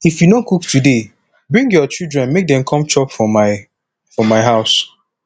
if you no cook today bring your children make dem come chop for my for my house